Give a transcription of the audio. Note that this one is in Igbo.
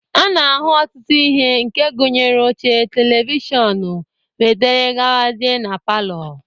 A na-ahụ ọtụtụ ihe, nke gụnyere oche, televishọnụ, wdg, na palọ.